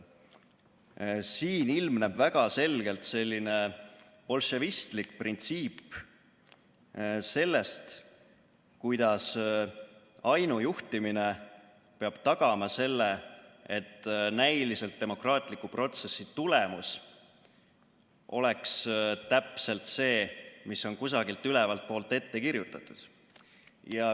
Siin ilmneb väga selgelt selline bolševistlik printsiip sellest, kuidas ainujuhtimine peab tagama, et näiliselt demokraatliku protsessi tulemus oleks täpselt see, mis on kusagilt ülevalt poolt ette kirjutatud.